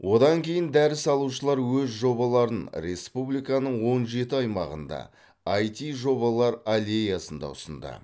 одан кейін дәріс алушылар өз жобаларын республиканың он жеті аймағында айти жобалар аллеясында ұсынды